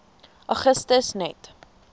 augustus net